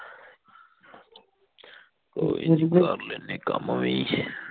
ਕੋਈ ਨੀ ਕਰ ਲੈਣੇ ਆ ਕੰਮ ਵੀ